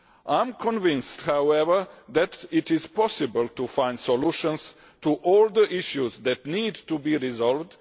I am convinced, however, that it is possible to find solutions to all the issues that need to be resolved.